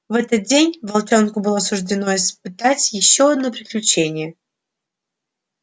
в этот день волчонку было суждено испытать ещё одно приключение